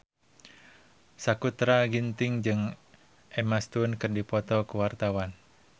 Sakutra Ginting jeung Emma Stone keur dipoto ku wartawan